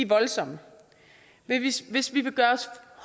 voldsomme hvis vi vil gøre os